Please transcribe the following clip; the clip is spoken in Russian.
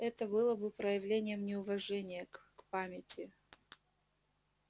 это было бы проявлением неуважения к к памяти